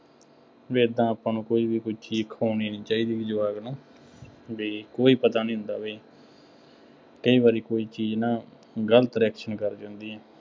ਬਈ ਏਦਾਂ ਆਪਾਂ ਨੂੰ ਕੋਈ ਵੀ ਕੋਈ ਚੀਜ਼ ਖਵਾਉਣੀ ਨਹੀਂ ਚਾਹੀਦੀ ਬਈ ਜਵਾਕ ਨੂੰ ਬਈ ਕੋਈ ਪਤਾ ਨਹੀਂ ਹੁੰਦਾ ਬਈ, ਕਈ ਵਾਰੀ ਕੋਈ ਚੀਜ਼ ਨਾ, ਗਲਤ reaction ਕਰ ਜਾਂਦੀ ਹੈ।